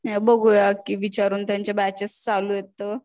बघूया की विचारून त्यांच्या बॅचेस चालू आहेत तर